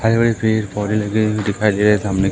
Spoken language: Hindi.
हरे भरे पेड़ पौधे लगे हुए दिखाई दे रहे सामने।